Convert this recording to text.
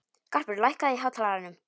Garpur, lækkaðu í hátalaranum.